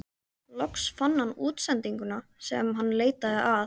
Loks fann hann útsendinguna sem hann leitaði að.